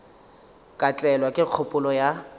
ka tlelwa ke kgopolo ya